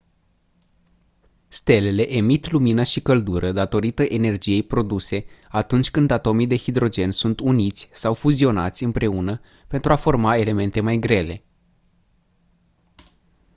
stelele emit lumină și căldură datorită energiei produse atunci când atomii de hidrogen sunt uniți sau fuzionați împreună pentru a forma elemente mai grele